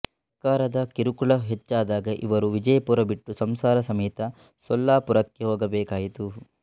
ಸರ್ಕಾರದ ಕಿರುಕುಳ ಹೆಚ್ಚಾದಾಗ ಇವರು ವಿಜಯಪುರ ಬಿಟ್ಟು ಸಂಸಾರಸಮೇತ ಸೊಲ್ಲಾಪುರಕ್ಕೆ ಹೋಗಬೇಕಾಯಿತು